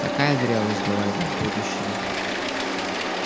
такая зрелость ждала его в будущем